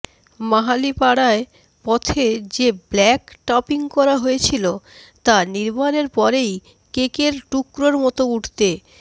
মাহালিপাড়ায় পথে যে black topping করা হয়েছিল তা নির্মাণের পরই কেকের টুকরোর মতো উঠতে